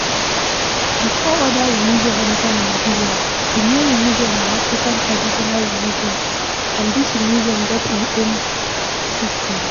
Before oda religion enter Nigeria, di main religion na African Traditional Religion and this religion get im own system